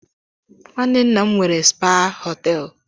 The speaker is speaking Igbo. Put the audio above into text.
Nwanne nna m nwere spaa họteelụ.